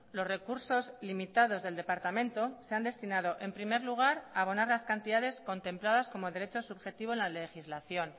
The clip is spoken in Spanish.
los recursos limitados del departamento se han destinado en primer lugar a abonar las cantidades contempladas como derecho subjetivo en la legislación